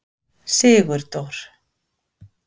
Sigurdór